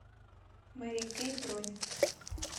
мэри кей бронь